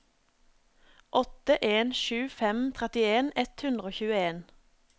åtte en sju fem trettien ett hundre og tjueen